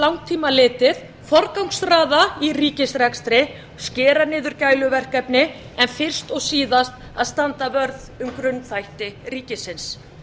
langtíma litið forgangsraða í ríkisrekstri skera niður gæluverkefni en fyrst og síðast að standa vörð um grunnþætti ríkisins